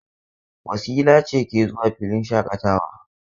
Wasila ce ke zuwa filin shaƙatawa.